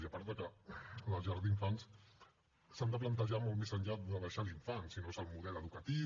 i a part que les llars d’infants s’han de plantejar molt més enllà de deixar l’infant sinó que és el model educatiu